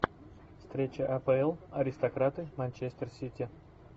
встреча апл аристократы манчестер сити